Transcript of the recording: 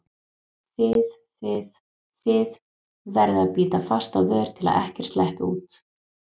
þið þið, þið- verður að bíta fast á vör til að ekkert sleppi út.